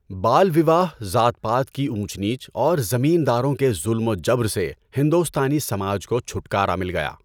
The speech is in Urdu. بال وِواہ، ذات پات کی اونچ نیچ اور زمین داروں کے ظلم و جبر سے ہندوستانی سماج کو چھٹکارا مل گیا۔